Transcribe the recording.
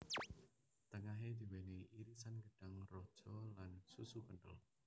Tengahe diwenehi irisan gedhang raja lan susu kenthel